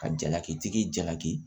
Ka jalaki tigi jalaki